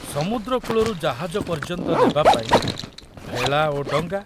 ସମୁଦ୍ର କୂଳରୁ ଜାହାଜ ପର୍ଯ୍ୟନ୍ତ ନେବାପାଇଁ ଭେଳା ଓ ଡଙ୍ଗା।